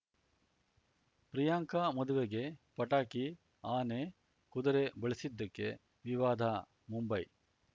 ಪ್ರಿಯಾಂಕಾ ಮದುವೆಗೆ ಪಟಾಕಿ ಆನೆ ಕುದುರೆ ಬಳಸಿದ್ದಕ್ಕೆ ವಿವಾದ ಮುಂಬೈ